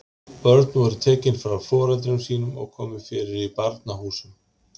Börn voru tekin frá foreldrum sínum og komið fyrir í barnahúsum.